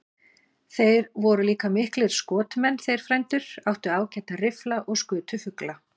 Þeir voru líka miklir skotmenn, þeir frændur, áttu ágæta riffla og skutu fugla.